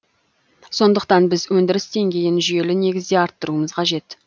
сондықтан біз өндіріс деңгейін жүйелі негізде арттыруымыз қажет